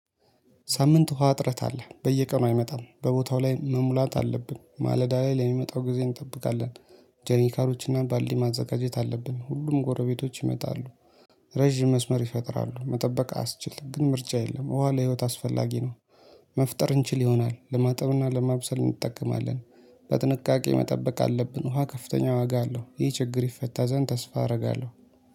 ሳምንት ውሃ እጥረት አለ በየቀኑ አይመጣም በቦታው ላይ መሙላት አለብን ማለዳ ላይ ለሚመጣው ጊዜ እንጠብቃለን። ጀኒካሎችና ባልዲ ማዘጋጀት አለብን ሁሉም ጎረቤቶች ይመጣሉ። ረዥም መስመር ይፈጥራሉ መጠበቅ አያስችል ግን ምርጫ የለም ዉሃ ለህይወት አስፈላጊ ነው። መፍጠር እንችል ይሆናል ለማጠብ እና ለማብሰል እንጠቀማለን። በጥንቃቄ መጠበቅ አለብን ውሃ ከፍተኛ ዋጋ አለው። ይህ ችግር ይፈታ ዘንድ ተስፋ አረጋለሁ